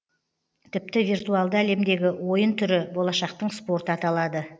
тіпті виртуалды әлемдегі ойын түрі болашақтың спорты аталады